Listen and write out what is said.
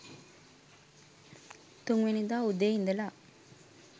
තුන් වෙනිදා උදේ ඉඳලා